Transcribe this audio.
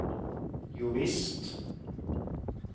jovisst